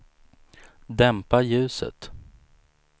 dämpa ljuset